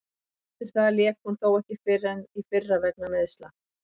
Eftir það lék hún þó ekki fyrr en í fyrra vegna meiðsla.